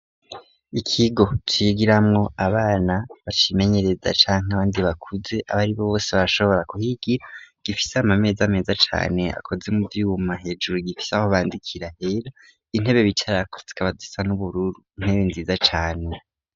Ikigo cigiramwo abana bacimenyereza canke abandi bakuze abaribo bose barashobora kuhigira gifise amameza meza cane akoze mu vyuma hejuru gifise aho bandikira hera intebe bicarako zikaba zisa n'ubururu intebe nziza cane.